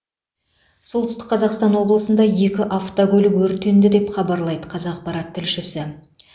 солтүстік қазақстан облысында екі автокөлік өртенді деп хабарлайды қазақпарат тілшісі